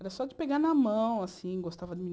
Era só de pegar na mão, assim, gostava de